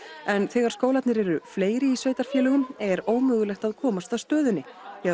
en þegar skólarnir eru fleiri í sveitarfélögunum er ómögulegt að komast að stöðunni því